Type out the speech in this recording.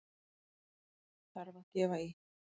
Þarf að gefa í!